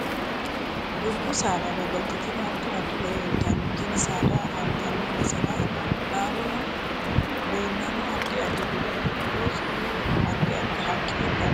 Dubbu saada babbaxitino addi addi horo uyiitanno tini saada afantanno basera leelanno addi addi dubbi giddosi addi addi haqqi dana leelishanno